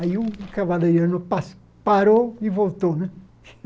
Aí o cavalariano pa parou e voltou, né?